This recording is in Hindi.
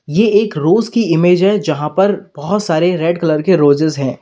ये एक रोज की इमेज है जहां पर बहोत सारे रेड कलर के रोजेज हैं।